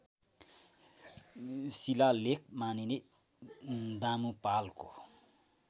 शिलालेख मानिने दामुपालको